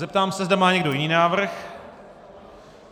Zeptám se, zda má někdo jiný návrh.